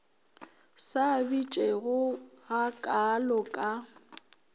sa bitšego ga kaalo ka